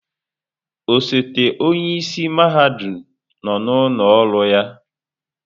Osote onye isi mahadum nọ n'ụlọ ọrụ ya.